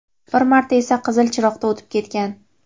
bir marta esa qizil chiroqda o‘tib ketgan.